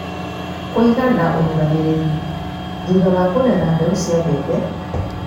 Kũiga na ũrũgamĩrĩri: Thutha wa kũgetha, mbeũ cia mbembe